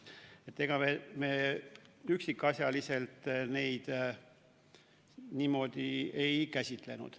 Ega me üksikasjaliselt neid niimoodi ei käsitlenud.